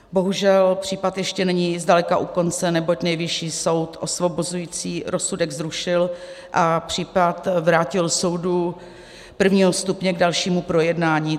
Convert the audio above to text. Bohužel případ ještě není zdaleka u konce, neboť Nejvyšší soud osvobozující rozsudek zrušil a případ vrátil soudu prvního stupně k dalšímu projednání.